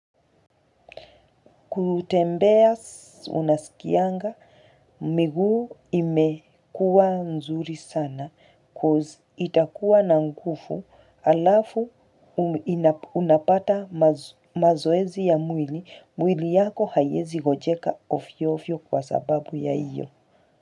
Kutembea unasikianga, miguu imekuwa mzuri sana coz itakuwa na nguvu alafu unapata mazoezi ya mwili, mwili yako haiezi gonjeka ovyo ovyo kwa sababu ya hiyo.